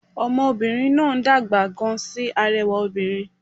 Ọmọ obìnrin náà ń dàgbà gan sí arẹwà obìnrin